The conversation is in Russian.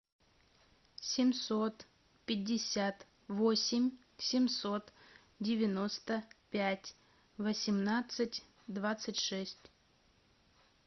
семьсот пятьдесят восемь семьсот девяносто пять восемнадцать двадцать шесть